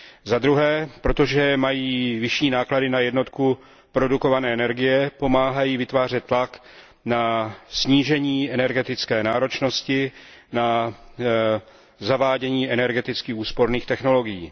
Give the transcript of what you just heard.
Za druhé, protože mají vyšší náklady na jednotku produkované energie, pomáhají vytvářet tlak na snížení energetické náročnosti, na zavádění energeticky úsporných technologií.